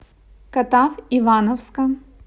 катав ивановска